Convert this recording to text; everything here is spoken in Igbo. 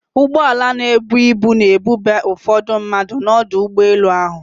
Ụgbọala na-ebu ibu na-ebube ụfọdụ mmadụ n'ọdụ ụgbọ elu ahụ.